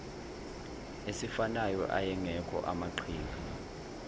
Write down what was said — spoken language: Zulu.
esifanayo ayengekho amaqhinga